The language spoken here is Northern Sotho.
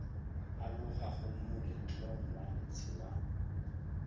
alogago moletlong wa ntshe wa